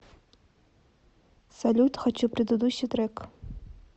салют хочу предыдущий трек